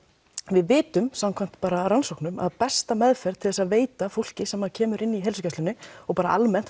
við vitum samkvæmt rannsóknum að besta meðferð til að veita fólki sem kemur inn á heilsugæslurnar og bara almennt